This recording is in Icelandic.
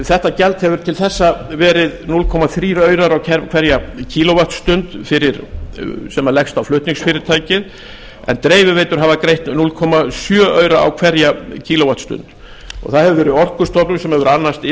þetta gjald hefur til þessa verið núll komma þrjú aurar á hverja kíló vattstundir sem leggst á flutningsfyrirtækið en dreifiveitur hafa greitt núll komma sjö aura á hverja kíló vattstundir það hefur verið orkustofnun sem hefur annast